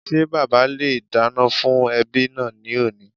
Ṣé bàbá le è dáná fún ẹbí náà ní òní